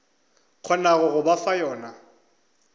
kgonago go ba fa yona